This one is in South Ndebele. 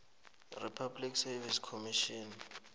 kupublic service commission